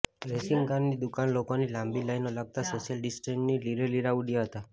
રેશનિંગની દુકાને લોકોની લાંબી લાઈનો લાગતા સોશિયલ ડિસ્ટન્સિંગના લીરેલીરાં ઉડ્યા હતા